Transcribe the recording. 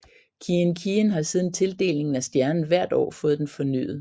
Kiin Kiin har siden tildelingen af stjernen hvert år fået den fornyet